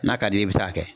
N'a ka d'i ye i bɛ taa